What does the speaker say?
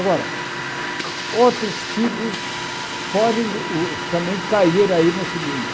Agora, outros tipos podem o também cair aí nesse meio.